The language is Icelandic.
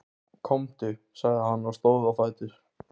Komdu, sagði hann og stóð á fætur.